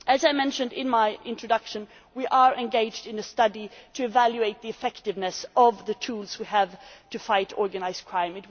As I mentioned in my introduction, we are engaged in a study to evaluate the effectiveness of the tools we have for fighting organised crime.